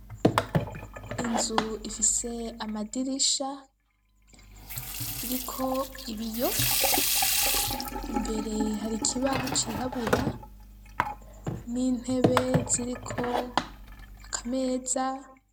Inzu ifise amadirisha, iriko ibiyo, imbere hari ikibaho cirabura n'intebe ziriko aka meza.